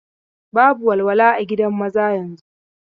Babu walwala a gidan maza yanzun.